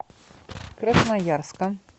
красноярска